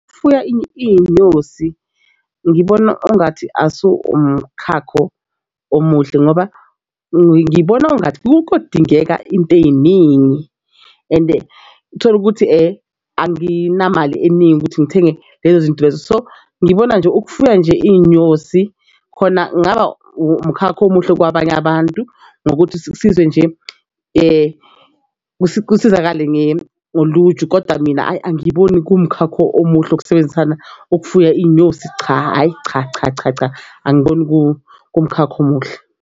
Ukufuya iy'nyosi ngibona engathi asu umkhankaso omuhle ngoba ngibona engathi kodingeka into ey'ningi and uthole ukuthi anginamali eningi ukuthi ngithenge lezo zinto lezo. So ngibona nje ukufuya nje iy'nyosi khona kungaba umkhakha omuhle kwabanye abantu ngokuthi sizwe nje kusizakale ngolunje kodwa mina hhayi angiyiboni kumkhakha omuhle ukusebenzisana okufuya iy'nyosi. Cha hhayi cha, cha, cha, cha, angiboni kumkhakha omuhle.